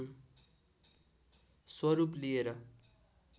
स्वरूप लिएर